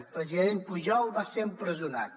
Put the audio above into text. el president pujol va ser empresonat